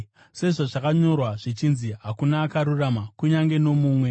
Sezvazvakanyorwa zvichinzi: “Hakuna akarurama, kunyange nomumwe;